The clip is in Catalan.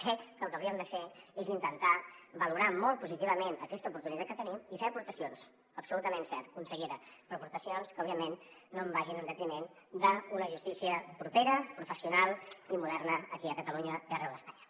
crec que el que hauríem de fer és intentar valorar molt positivament aquesta oportunitat que tenim i fer hi aportacions absolutament cert consellera però aportacions que òbviament no vagin en detriment d’una justícia propera professional i moderna aquí a catalunya i arreu d’espanya